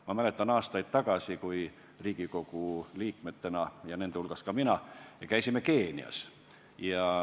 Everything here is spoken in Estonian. Ma mäletan, kuidas ma aastaid tagasi käisin koos teiste Riigikogu liikmetega Keenias.